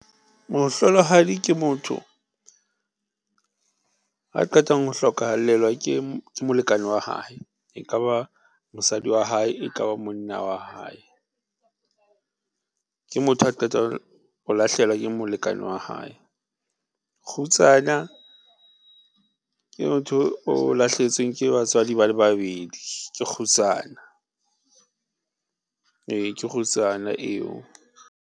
Mohlolohadi ke motho a qetang ho hlokallelwa ke molekane wa hae, e kaba mosadi wa hae, ekaba monna wa hae ke motho a qetang ho lahlehelwa ke molekane wa hae. Kgutsana ke motho o lahlehetsweng ke batswadi ba le babedi ke kgutsana ee, kgutsana eo.